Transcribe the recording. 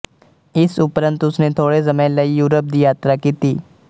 ਇਸ ਉਪਰੰਤ ਉਸਨੇ ਥੋੜ੍ਹੇ ਸਮੇਂ ਲਈ ਯੂਰਪ ਦੀ ਯਾਤਰਾ ਕੀਤੀ